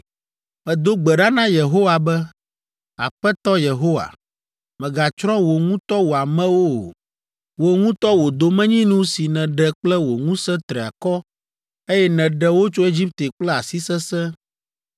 “Medo gbe ɖa na Yehowa be, Aƒetɔ Yehowa, mègatsrɔ̃ wò ŋutɔ wò amewo o. Wò ŋutɔ wò domenyinu si nèɖe kple wò ŋusẽ triakɔ, eye nèɖe wo tso Egipte kple asi sesẽ.